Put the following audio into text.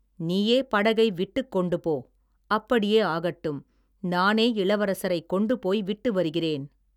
நீயே படகை விட்டுக் கொண்டுபோ, அப்படியே ஆகட்டும், நானே இளவரசரைக் கொண்டு போய் விட்டு வருகிறேன்.